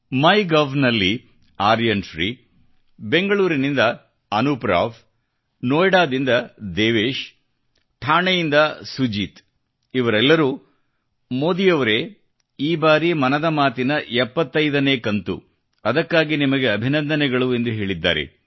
ಮೈ gov ನಲ್ಲಿ ಆರ್ಯನ್ ಶ್ರೀ ಬೆಂಗಳೂರಿನಿಂದ ಅನೂಪ್ ರಾವ್ ನೋಯ್ಡಾದಿಂದ ದೇವೇಶ್ ಠಾಣೆಯಿಂದ ಸುಜಿತ್ ಇವರೆಲ್ಲರೂಮೋದಿಯವರೇ ಈ ಬಾರಿ ಮನದ ಮಾತಿನ 75 ನೇ ಕಂತು ಅದಕ್ಕಾಗಿ ನಿಮಗೆ ಅಭಿನಂದನೆಗಳು ಎಂದು ಹೇಳಿದ್ದಾರೆ